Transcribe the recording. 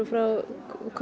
frá